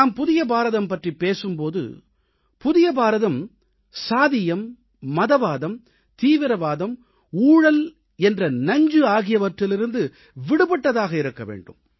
நாம் புதிய பாரதம் பற்றிப் பேசும் போது புதிய பாரதம் சாதியம் மதவாதம் தீவிரவாதம் ஊழல் என்ற நஞ்சு ஆகியற்றிலிருந்து விடுபட்டதாக இருக்க வேண்டும்